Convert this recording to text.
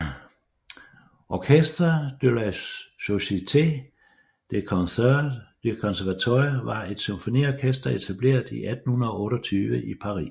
Orchestre de la Société des Concerts du Conservatoire var et symfoniorkester etableret i 1828 i Paris